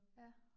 Ja